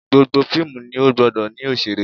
Gbogbo fíìmù ni ó gbọdọ̀ ní òṣèré